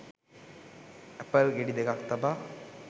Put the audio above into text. Apple ගෙඩි දෙකක් තබා